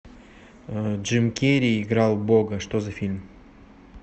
джим керри играл бога что за фильм